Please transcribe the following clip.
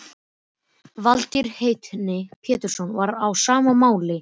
Valtýr heitinn Pétursson var á sama máli.